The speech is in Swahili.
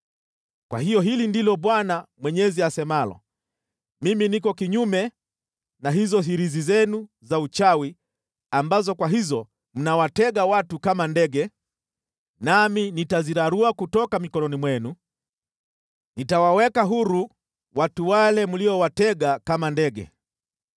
“ ‘Kwa hiyo hili ndilo Bwana Mwenyezi asemalo: Mimi niko kinyume na hizo hirizi zenu za uchawi ambazo kwa hizo mnawatega watu kama ndege, nami nitazirarua kutoka mikononi mwenu, nitawaweka huru watu wale mliowatega kama ndege.